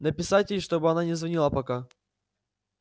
написать ей чтобы она не звонила пока